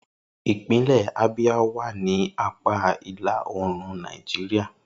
Ipinle Abia wa ni apa ila-oorun Naijiria.